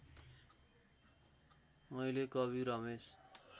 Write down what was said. मैले कवि रमेश